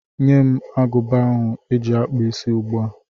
Nye m agụba ahụ eji akpụ isí ugbu a!